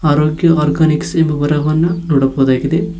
ಅರೋಗ್ಯ ಆರ್ಗನಿಕ್ಸ್ ಎಂಬ ಬರಹವನ್ನ ನೋಡಬಹುದಾಗಿದೆ.